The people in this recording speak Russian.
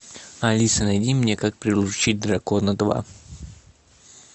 алиса найди мне как приручить дракона два